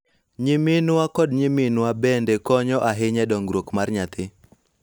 Nyiminwa kod nyiminwa bende konyo ahinya e dongruok mar nyathi